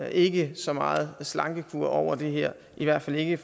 ikke så meget slankekur over det her i hvert fald ikke